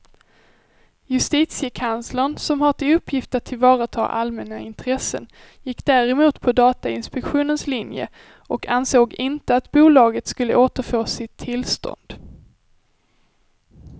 Justitiekanslern som har till uppgift att tillvarata allmänna intressen gick däremot på datainspektionens linje och ansåg inte att bolaget skulle återfå sitt tillstånd.